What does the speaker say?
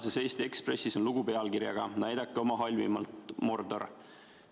Tänases Eesti Ekspressis on lugu pealkirjaga "Näidake oma halvimat, Mordor!".